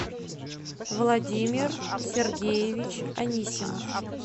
владимир сергеевич анисимов